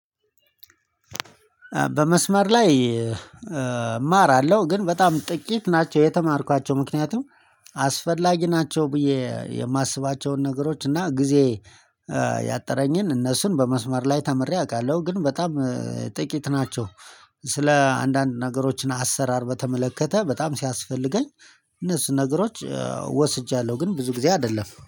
በመስመር ላይ እማራለሁ ግን በጣም ጥቂት ናቸው የተማርኳቸው ምክንያቱም አስፈላጊ ናቸው ብዬ የማስባቸውን ነገሮች እና ጊዜ ያጠረኝን እነሱን በመስመር ላይ ተምሬ አውቃለሁ። ግን በጣም ጥቂት ናቸው። ስለ አንዳንድ ነገሮችን አሰራር በተመለከተ በጣም ሲያስፈልገኝ እነሱ ነገሮች ወስጃለሁ። ግን ብዙ ጊዜ አይደለም